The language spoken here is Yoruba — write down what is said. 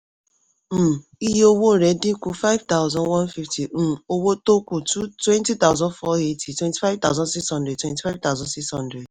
um iye owó rẹ̀ dín ku five thousand one fifty um owó tó kù two twenty thousand four eighty, twenty-five thousand six hundred, twenty-five thousand six hundred